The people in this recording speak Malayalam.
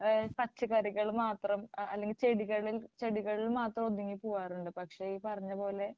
ഏഹ് പച്ചക്കറികൾ മാത്രം അല്ലെങ്കിൽ ചെടികൾ ചെടികളിൽ മാത്രം ഒതുങ്ങി പോകാറുണ്ട് പക്ഷേ ഈ പറഞ്ഞപോലെ